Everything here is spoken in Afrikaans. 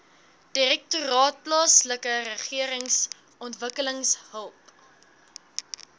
direktoraat plaaslikeregeringsontwikkeling help